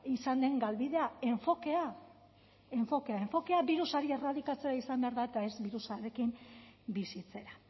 izan den galbidea enfokea enfokea enfokea birusa erradikatzera izan behar da eta ez birusarekin bizitzera